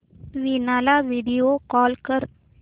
वीणा ला video call कर